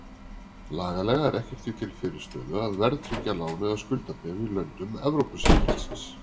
Lagalega er ekkert því til fyrirstöðu að verðtryggja lán eða skuldabréf í löndum Evrópusambandsins.